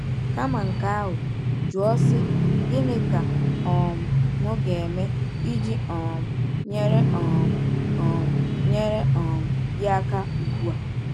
Kama nke ahụ, jụọ sị: “Gịnị ka um m ga-eme iji um nyere um um nyere um gị aka ugbu a?”